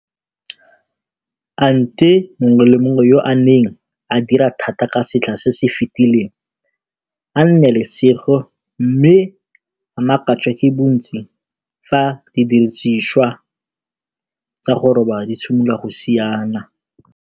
A nte mongwe le mongwe yo a neng a dira thata ka setlha se se fetileng a nne le lesego mme a makatswe ke bontsi fa didiriswa tsa go roba di simolola go siana!